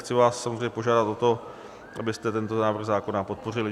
Chci vás samozřejmě požádat o to, abyste tento návrh zákona podpořili.